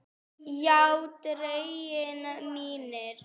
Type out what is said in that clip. Já drengir mínir.